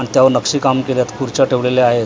आन त्यावर नक्षीकाम केल्यात खुर्च्या ठेवलेल्या आहेत किंवा--